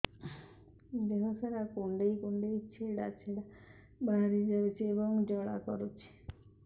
ଦେହ ସାରା କୁଣ୍ଡେଇ କୁଣ୍ଡେଇ ଛେଡ଼ା ଛେଡ଼ା ବାହାରି ଯାଉଛି ଏବଂ ଜ୍ୱାଳା କରୁଛି